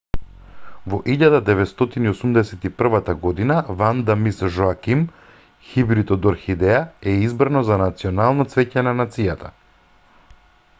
во 1981 година ванда мис жоаким хибрид од орхидеја е избрано за национално цвеќе на нацијата